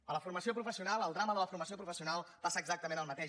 a la formació professional al drama de la formació professional passa exactament el mateix